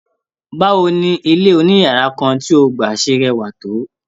Bawo ni ilé oniyara kan tí o gba ṣẹ rẹwa tó?